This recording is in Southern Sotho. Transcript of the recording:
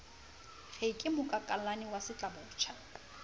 re ke mokakallane wa setlabotjha